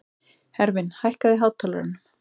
Hervin, hækkaðu í hátalaranum.